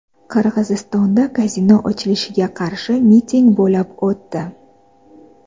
Qirg‘izistonda kazino ochilishiga qarshi miting bo‘lib o‘tdi.